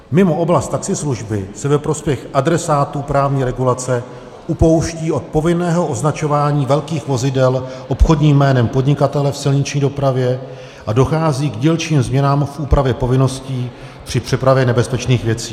Mimo oblast taxislužby se ve prospěch adresátů právní regulace upouští od povinného označování velkých vozidel obchodním jménem podnikatele v silniční dopravě a dochází k dílčím změnám v úpravě povinností při přepravě nebezpečných věcí.